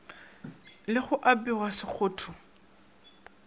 le ge go apewa sekgotho